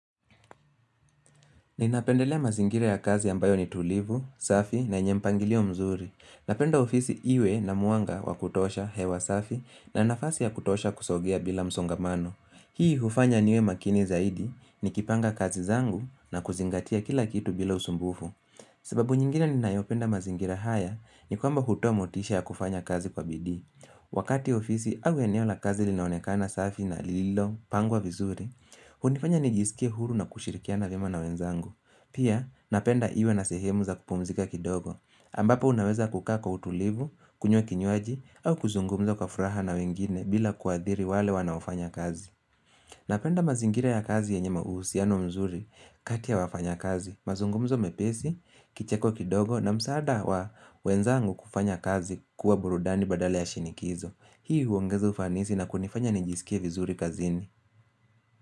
Ninapendelea mazingira ya kazi ambayo ni tulivu, safi na yenye mpangilio mzuri. Napenda ofisi iwe na mwanga wa kutosha hewa safi na nafasi ya kutosha kusogea bila msongamano. Hii hufanya niwe makini zaidi nikipanga kazi zangu na kuzingatia kila kitu bila usumbufu. Sababu nyingine ninayopenda mazingira haya ni kwamba hutoa motisha ya kufanya kazi kwa bidii. Wakati ofisi au eneo la kazi linaonekana safi na lilopangwa vizuri, hunifanya nijisikie huru na kushirikia na vyema na wenzangu Pia napenda iwe na sehemu za kupumzika kidogo ambapo unaweza kukaa kwa utulivu, kunywa kinywaji au kuzungumza kwa furaha na wengine bila kuadhiri wale wanaofanya kazi Napenda mazingira ya kazi yenye ma uhusiano mzuri katia wafanyakazi mazungumzo mepesi, kicheko kidogo na msaada wa wenzangu kufanya kazi kuwa burudani badala ya shinikizo Hii huongeza ufanisi na kunifanya nijisikie vizuri kazini.